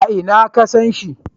A ina ka san shi?